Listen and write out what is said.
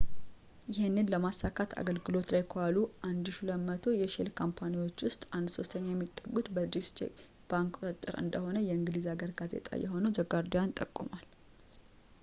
ይህንን ለማሳካት አገልግሎት ላይ ከዋሉት 1200 የሼል ካምፓኒዎች ውስጥ አንድ ሶስተኛ የሚጠጉት በdeutsche bank ቁጥጥር ስር እንደሆኑ የእንግሊዝ ሀገር ጋዜጣ የሆነው the guardian ጠቁሟል